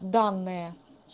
данные